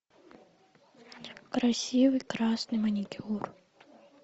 красивый красный маникюр